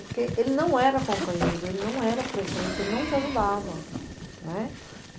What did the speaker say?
Porque ele não era companheiro, ele não era presente, ele não te ajudava, né.